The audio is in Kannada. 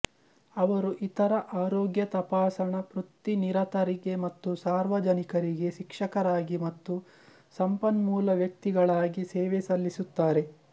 ಅವರು ಇತರ ಆರೋಗ್ಯ ತಪಾಸಣಾ ಪೃತ್ತಿನಿರತರಿಗೆ ಮತ್ತು ಸಾರ್ವಾಜನಿಕರಿಗೆ ಶಿಕ್ಷಕರಾಗಿ ಮತ್ತು ಸಂಪನ್ಮೂಲ ವ್ಯಕ್ತಿಗಳಾಗಿ ಸೇವೆ ಸಲ್ಲಿಸುತ್ತಾರೆ